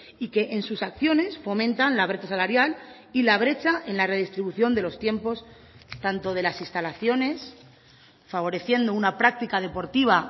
y que en sus acciones fomentan la brecha salarial y la brecha en la redistribución de los tiempos tanto de las instalaciones favoreciendo una práctica deportiva